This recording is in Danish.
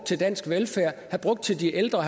til dansk velfærd til de ældre